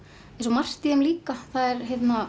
margt í þeim líka þær